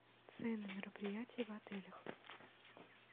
цены мероприятий в отелях